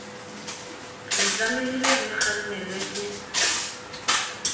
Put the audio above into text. re tlamehile re kgannelwa ke